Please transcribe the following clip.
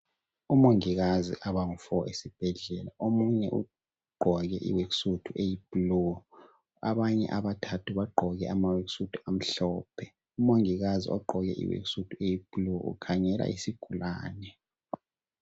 Omongikazi abangu 4 esibhedlela. Omunye ugqoke iworksuit eyiblue abanye abathathu bagqoke amhlophe. Umongikazi ogqoke iworksuit eyiblue ukhangela isigulane.